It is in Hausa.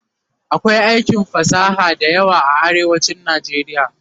akwai aikin fasaha da yawa a arewacin nijeriya